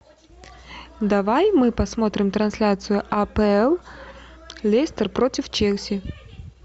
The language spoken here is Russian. давай мы посмотрим трансляцию апл лестер против челси